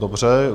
Dobře.